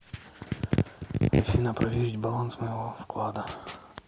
афина проверить баланс моего вклада